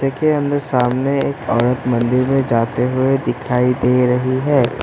के अंदर सामने एक औरत मंदिर में जाते हुए दिखाई दे रही है।